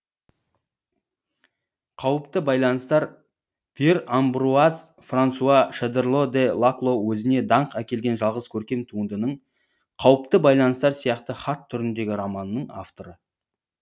қауіпті байланыстар пьер амбруаз франсуа шодерло де лакло өзіне даңқ әкелген жалғыз көркем туындының қауіпті байланыстар сияқты хат түріндегі романның авторы